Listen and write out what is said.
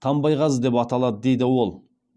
тамбайғазы деп аталады дейді ол